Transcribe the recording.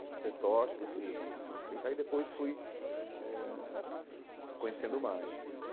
o Peter Tosh, conheci o o Jimmy Cliff, aí depois fui eh ãh conhecendo mais.